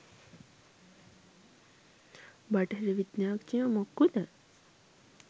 බටහිර විද්‍යාඥයො මොක්කුද?